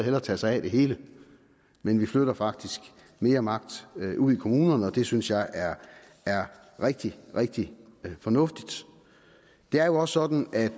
må tage sig af det hele men vi flytter faktisk mere magt ud i kommunerne og det synes jeg er er rigtig rigtig fornuftigt det er jo også sådan at